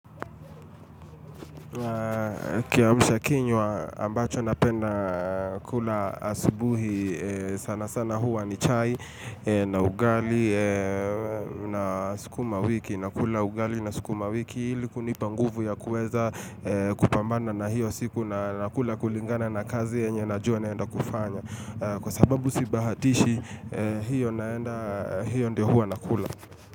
Kiamusha kinywa ambacho napenda kula asubuhi sana sana huwa ni chai na ugali na sukuma wiki na kula ugali na sukuma wiki iliku nipanguvu ya kuweza kupambana na hiyo siku na kula kulingana na kazi yenye na jua naenda kufanya kwa sababu si bahatishi hiyo naenda hiyo ndio huwa na kula.